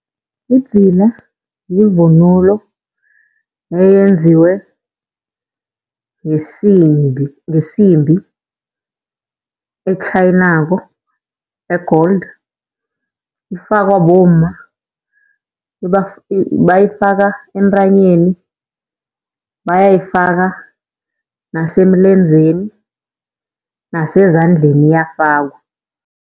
Idzila yivunulo eyenziwe ngesimbi etjhayinako e-gold. Ifakwa bomma bayifaka entanyeni, bayayifaka nasemlenzeni nasezandleni iyafakwa.